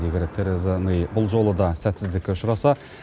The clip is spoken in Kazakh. егер тереза мэй бұл жолы да сәтсіздікке ұшыраса